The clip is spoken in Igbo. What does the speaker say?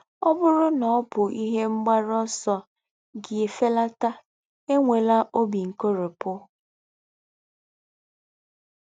Ọ bụrụ na ọ bụ ihe mgbaru ọsọ gị ifelata, enwela obi nkoropụ.